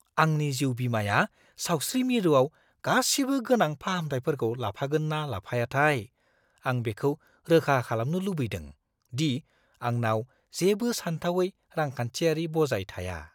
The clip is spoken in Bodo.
आंनि जिउ-बीमाया सावस्रि मिरुआव गासिबो गोनां फाहामथायफोरखौ लाफागोन ना लाफायाथाय! आं बेखौ रोखा खालामनो लुबैदों दि आंनाव जेबो सानथावै रांखान्थियारि बजाय थाया।